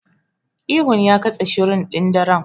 Ihun ya katse shirun ɗin daren.